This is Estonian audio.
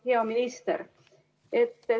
Hea minister!